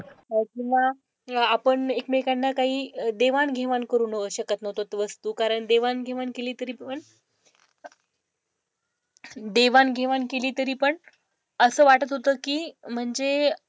अह किंवा आपण एकमेकांना काही देवाणघेवाण करू शकत नव्हतो वस्तू, कारण देवाणघेवाण केली तरी पण देवाणघेवाण केली तरी पण असं वाटत होतं की म्हणजे,